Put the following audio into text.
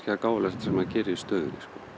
það gáfulegasta sem maður gerir í stöðunni